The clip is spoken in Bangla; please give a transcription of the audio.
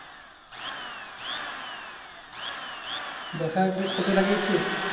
দশ হাজার pice কপি লাগিয়েছিস?